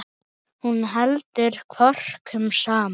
Hún heldur kvörkum saman.